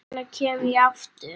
Hvenær kem ég aftur?